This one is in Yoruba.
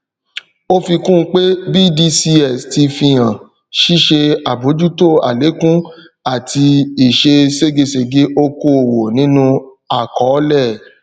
ó fikun pé bdcs ti fíhàn ṣíṣe àbójútó àlékún àti ìṣe ségesège okoòwò nínú àkọọlẹ